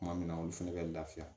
Kuma min na olu fɛnɛ bɛ lafiya